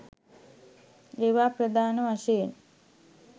ඒවා ප්‍රධාන වශයෙන්